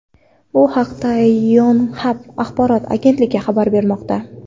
Bu haqda Yonhap axborot agentligi xabar bermoqda .